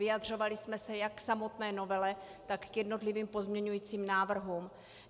Vyjadřovali jsme se jak k samotné novele, tak k jednotlivým pozměňujícím návrhům.